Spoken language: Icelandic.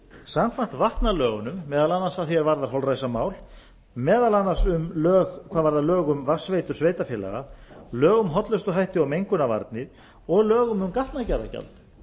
samkvæmt vatnalögunum meðal annars að því er varðar holræsamál meðal annars hvað varðar lög um vatnsveitur sveitarfélaga lög um hollustuhætti og mengunarvarnir og lög um gatnagerðargjald